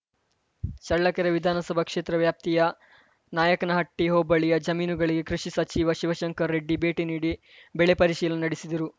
ಚಳ್ಳಕೆರೆ ವಿಧಾನಸಭಾ ಕ್ಷೇತ್ರ ವ್ಯಾಪ್ತಿಯ ನಾಯಕನಹಟ್ಟಿಹೋಬಳಿಯ ಜಮೀನುಗಳಿಗೆ ಕೃಷಿ ಸಚಿವ ಶಿವಶಂಕರ ರೆಡ್ಡಿ ಭೇಟಿ ನೀಡಿ ಬೆಳೆ ಪರಿಶೀಲನೆ ನಡೆಸಿದರು